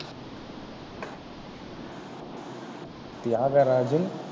Thiagarajan